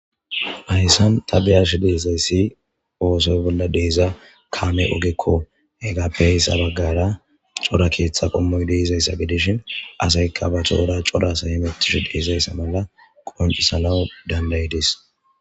hayssan tabiyash deezayssi oosoy bolla deeza kaame ogekko he gappe heyssa baggara cora keeththa qommoy deizayssa gidishin asayka ba toora cora asay himetishu deizayssa mala qonci salawu dandayidis